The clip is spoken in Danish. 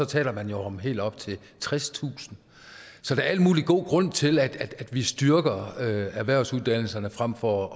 taler man jo om helt op til tredstusind så der er al mulig god grund til at vi styrker erhvervsuddannelserne frem for